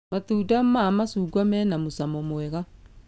Matunda ma macungwa mena mũcamo mwega